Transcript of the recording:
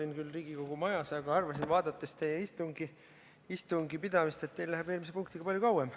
Olin küll Riigikogu majas, aga arvasin, vaadates teie istungit, et teil läheb eelmise punktiga palju kauem.